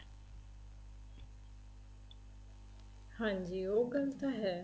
ਹਾਂਜੀ ਉਹ ਗੱਲ ਤਾਂ ਹੈ